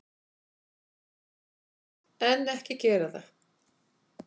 En, ekki gera það!